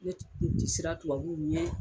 Ne kun ti siran tubabu ɲɛ,